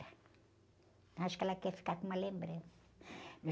Eu acho que ela quer ficar com uma lembrança.